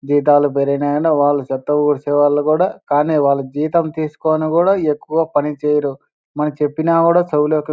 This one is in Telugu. జీతాలు పెరిగాయంటే వాళ్ళు చెత్త ఊడ్చేవాళ్ళు కూడా కానీ వాళ్ళు జీతం తీస్కొని కూడా ఎక్కువ పని చెయ్యరు మనం చెప్పిన కూడా చెవులొకి --